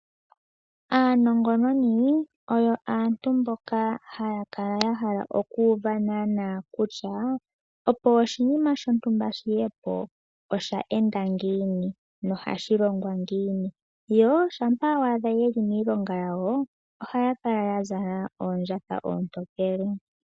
Aanongononi oyo aantu mboka haya kala ya hala okuuva naana kutya, opo oshinima shontumba shiye po osha enda ngiini, nohashi longwa ngiini? Yo shampa wa adha ye li miilonga yawo, ohaya kala ya zala oondjatha oontokele.